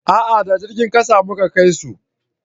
a'a da jirgin ƙasa mu Ka kai su